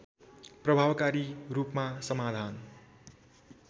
प्रभावकारी रूपमा समाधान